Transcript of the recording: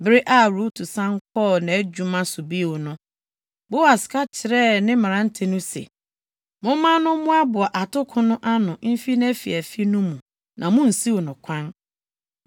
Bere a Rut san kɔɔ nʼadwuma so bio no, Boas ka kyerɛɛ ne mmerante no se, “Momma no mmoaboa atoko no ano mfi nʼafiafi no mu na munnsiw no kwan.